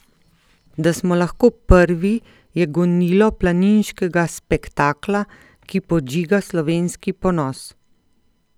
Da smo lahko prvi, je gonilo planiškega spektakla, ki podžiga slovenski ponos.